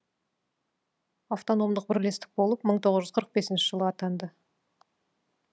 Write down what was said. автономдық бірлестік болып мың тоғыз жүз қырық бесінші жылы атанды